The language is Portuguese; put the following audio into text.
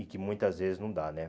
E que muitas vezes não dá, né?